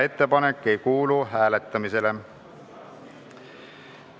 Ettepanek ei kuulu hääletamisele.